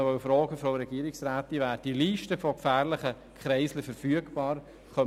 Ich wollte die Regierungsrätin noch fragen, ob die Liste gefährlicher Kreisel verfügbar ist.